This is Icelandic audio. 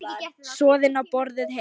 Soðin og borðuð heit.